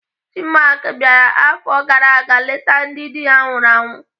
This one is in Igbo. Chinmark bịara afọ gara aga leta ndị dị ha nwụrụ anwụ.